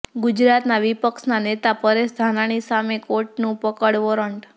ગુજરાતના વિપક્ષના નેતા પરેશ ધાનાણી સામે કોર્ટનું પકડ વોરંટ